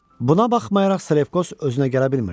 Buna baxmayaraq Salefkos özünə gələ bilmirdi.